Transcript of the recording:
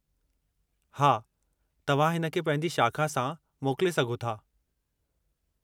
हा, तव्हां हिन खे पंहिंजी शाख़ा सां मोकले सघो था।